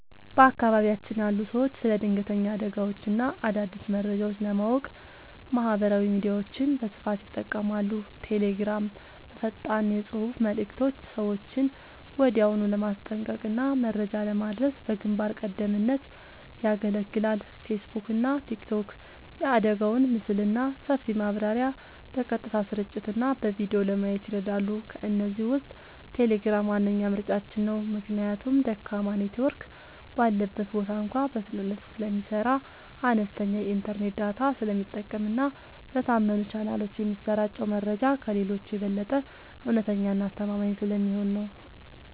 በአካባቢያችን ያሉ ሰዎች ስለ ድንገተኛ አደጋዎችና አዳዲስ መረጃዎች ለማወቅ ማህበራዊ ሚዲያዎችን በስፋት ይጠቀማሉ። ቴሌግራም፦ በፈጣን የፅሁፍ መልዕክቶች ሰዎችን ወዲያውኑ ለማስጠንቀቅና መረጃ ለማድረስ በግንባር ቀደምትነት ያገለግላል። ፌስቡክና ቲክቶክ፦ የአደጋውን ምስልና ሰፊ ማብራሪያ በቀጥታ ስርጭትና በቪዲዮ ለማየት ይረዳሉ። ከእነዚህ ውስጥ ቴሌግራም ዋነኛ ምርጫችን ነው። ምክንያቱም ደካማ ኔትወርክ ባለበት ቦታ እንኳ በፍጥነት ስለሚሰራ፣ አነስተኛ የኢንተርኔት ዳታ ስለሚጠቀምና በታመኑ ቻናሎች የሚሰራጨው መረጃ ከሌሎቹ የበለጠ እውነተኛና አስተማማኝ ስለሚሆን ነው።